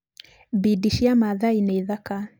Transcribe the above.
Bidi cia Maathai nĩ thaka.